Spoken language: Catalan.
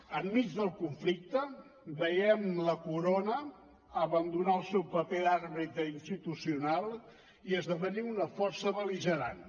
enmig del conflicte veiem la corona abandonar el seu paper d’àrbitre institucional i esdevenir una força bel·ligerant